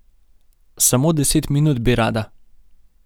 Samo deset minut bi rada.